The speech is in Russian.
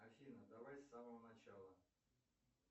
афина давай с самого начала